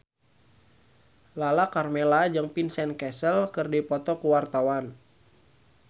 Lala Karmela jeung Vincent Cassel keur dipoto ku wartawan